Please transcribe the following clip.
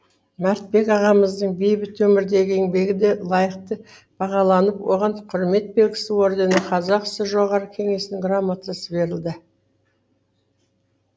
мартбек ағамыздың бейбіт өмірдегі еңбегі де лайықты бағаланып оған кұрмет белгісі ордені қазақ кср жоғарғы кеңесінің грамотасы берілді